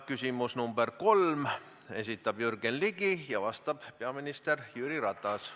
Küsimus nr 3, esitab Jürgen Ligi ja vastab peaminister Jüri Ratas.